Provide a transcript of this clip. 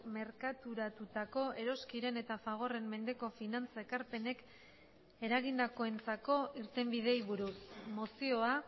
merkaturatutako eroskiren eta fagorren mendeko finantzaekarpenek eragindakoentzako irtenbideei buruz mozioa